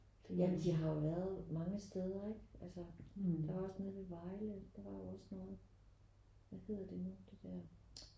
Ja men de har jo været mange steder ikke altså der var også nede ved Vejle der var jo også nogen hvad hedder det nu det der